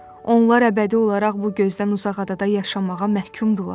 Onlar əbədi olaraq bu gözdən uzaq adada yaşamağa məhkumdular.